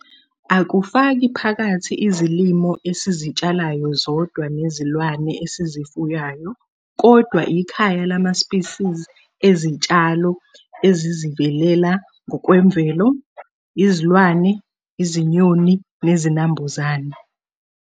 Akufaki phakathi izilimo esizitshalayo zodwa nezilwane esizifuyiyayo kodwa ikhaya lama-spisisi ezitshalo ezizivelela ngokwemvelo, izilwane, izinyoni nezinambuzane.